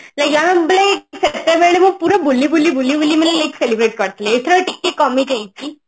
like ଆମେ ସେତେବେଳେ ମୁଁ ପୁରା ବୁଲିବୁଲି ବୁଲିବୁଲି ମାନେ like celebrate କରିଥିଲି ଏଥର ଟିକେ କମି ଯାଇଛି